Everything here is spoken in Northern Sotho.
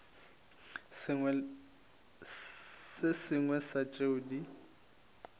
se sengwe sa tšeo di